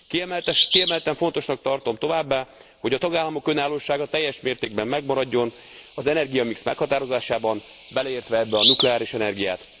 Kiemelten fontosnak tartom továbbá, hogy a tagállamok önállósága teljes mértékben megmaradjon az energiamix meghatározásában, beleértve ebbe a nukleáris energiát és a palagázt is.